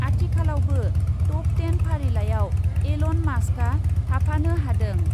आथिखालावबो top ten फारिलाइआव Elon मास्कआ थाफानो हादों।